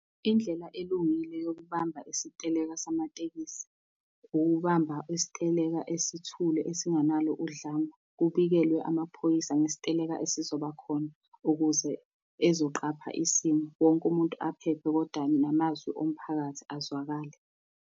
Indlela elungile yokubamba isiteleka samatekisi, ukubamba isiteleka esithule esingenalo udlame kubikelwe amaphoyisa ngesiteleka esizoba khona, ukuze ezoqapha isimo. Wonke umuntu aphephe kodwa namazwi omphakathi azwakale.